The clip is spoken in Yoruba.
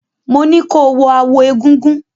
Mo ní ko wọ aawo egúngún!